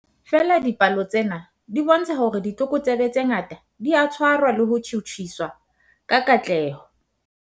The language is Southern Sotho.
Feela dipalo tsena di bontsha hore ditlokotsebe tse ngata di a tshwarwa le ho tjhutjhiswa ka katleho.